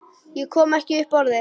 Ég kom ekki upp orði.